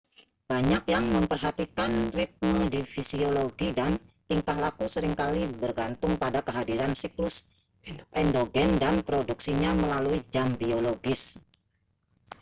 banyak yang memperhatikan ritme di fisiologi dan tingkah laku seringkali bergantung pada kehadiran siklus endogen dan produksinya melalui jam biologis